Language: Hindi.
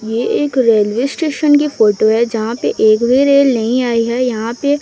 ये एक रेलवे स्टेशन की फोटो है जहां पे एक भी रेल नहीं आई है यहां पे--